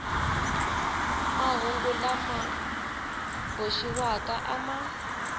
mahungu lama boxiwaka a ma